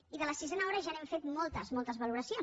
i de la sisena hora ja n’hem fet moltes moltes valoracions